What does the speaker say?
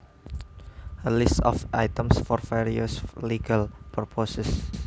A list of items for various legal purposes